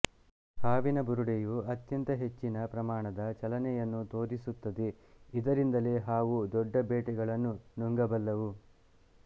ಹಾವಿನ ಬುರುಡೆಯು ಅತ್ಯಂತ ಹೆಚ್ಚಿನ ಪ್ರಮಾಣದ ಚಲನೆಯನ್ನು ತೋರಿಸುತ್ತದೆ ಇದರಿಂದಲೇ ಹಾವು ದೊಡ್ಡ ಬೇಟೆಗಳನ್ನು ನುಂಗಬಲ್ಲದು